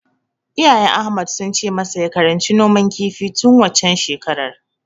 Iyayen Ahmad sun ce masa ya karanci noman kifi tun waccen shekarar.